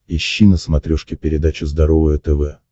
ищи на смотрешке передачу здоровое тв